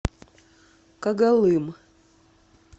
когалым